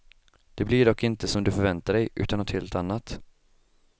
Det blir dock inte som du förväntar dig utan något helt annat.